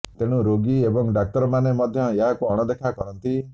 ତେଣୁ ରୋଗୀ ଏବଂ ଡାକ୍ତରମାନେ ମଧ୍ୟ ଏହାକୁ ଅଣଦେଖା କରନ୍ତି